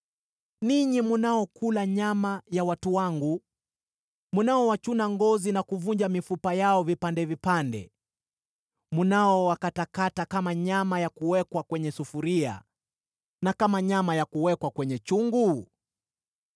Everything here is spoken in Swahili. ninyi mnaokula nyama ya watu wangu, mnaowachuna ngozi na kuvunja mifupa yao vipande vipande; mnaowakatakata kama nyama ya kuwekwa kwenye sufuria na kama nyama ya kuwekwa kwenye chungu?”